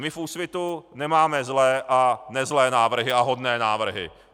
My v Úsvitu nemáme zlé a nezlé návrhy a hodné návrhy.